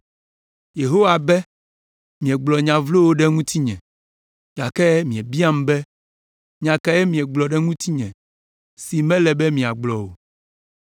“Yehowa be, ‘Miegblɔ nya vlowo ɖe ŋutinye’, “Gake miebiam be, ‘Nya kae míegblɔ ɖe ŋutiwò si mele be míagblɔ o?’